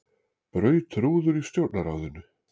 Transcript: Braut rúður í Stjórnarráðinu